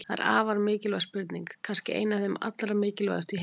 Þetta er afar mikilvæg spurning, kannski ein af þeim allra mikilvægustu í heiminum!